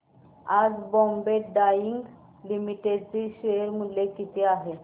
आज बॉम्बे डाईंग लिमिटेड चे शेअर मूल्य किती आहे सांगा